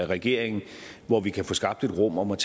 regeringen hvor vi kan få skabt et rum hvor man